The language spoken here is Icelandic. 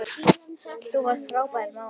Þú varst frábær móðir.